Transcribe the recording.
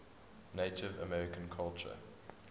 native american culture